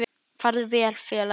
Farðu vel félagi.